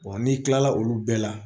n'i kilala olu bɛɛ la